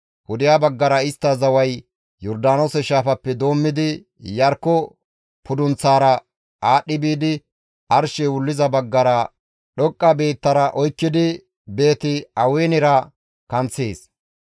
Pudeha baggara istta zaway Yordaanoose shaafappe doommidi, Iyarkko pudunththaara aadhdhi biidi arshey wulliza baggara dhoqqa biittara oykkidi Beeti-Awenera kanththees.